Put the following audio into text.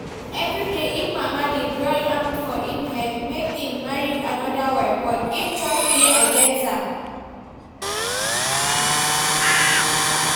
Evryday im mama dey drum am for im head make im marry another wife but im church dey against am